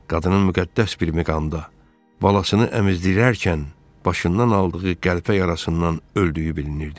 Qadının müqəddəs bir miqamda balasını əmizdirərkən başından aldığı qəlpə yarasından öldüyü bilinirdi.